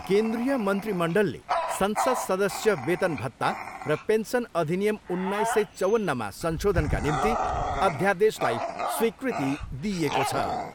केन्द्रीय मन्त्रीमण्डलले संसद सदस्य वेतन भत्ता रे पेन्सन अधिनियम उन्नाइस सय चौवन्नमा संशोधनका निम्ति अध्यादेशलाई स्वीकृति दिइएको छ।